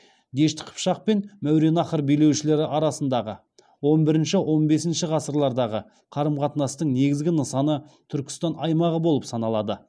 дешті қыпшақ пен мәуереннахр билеушілері арасындағы он бірінші он бесінші ғасырлардағы қарым қатынастың негізгі нысаны түркістан аймағы болып саналады